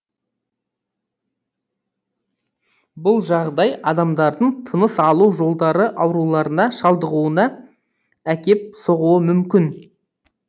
бұл жағдай адамдардың тыныс алу жолдары ауруларына шалдығуына әкеп соғуы мүмкін